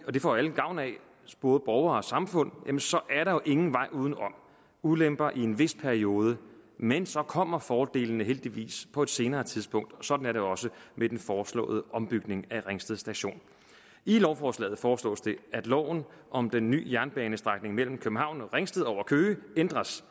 og det får alle gavn af både borgere og samfund så er der jo ingen vej uden om ulemper i en vis periode men så kommer fordelene heldigvis på et senere tidspunkt og sådan er det også med den foreslåede ombygning af ringsted station i lovforslaget foreslås det at loven om den ny jernbanestrækning mellem københavn og ringsted over køge ændres